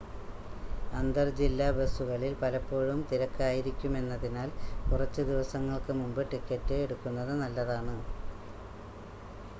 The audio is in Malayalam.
അന്തർ ജില്ലാ ബസുകളിൽ പലപ്പോഴും തിരക്കായിരിക്കുമെന്നതിനാൽ കുറച്ച് ദിവസങ്ങൾക്ക് മുമ്പ് ടിക്കറ്റ് എടുക്കുന്നത് നല്ലതാണ്